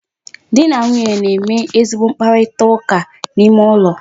Di na nwunye na-eme ezigbo mkparitaụka n'ime ụlọ.